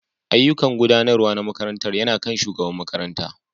Ayyukan Gudanarwa na makarantar yana kan shugaban makaranta